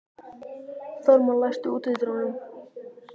Þórmar, læstu útidyrunum.